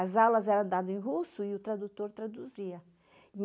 As aulas eram dadas em russo e o tradutor traduzia.